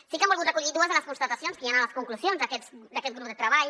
sí que hem volgut recollir dues de les constatacions que hi han a les conclusions d’aquest grup de treball